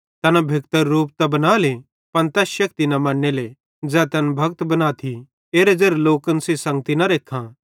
तैना भेक्तरू रूप त बनाले पन तैस शेक्ति न मन्नेले ज़ै तैन भक्त बनाथी एरे ज़ेरे लोकन सेइं संगती न रेखां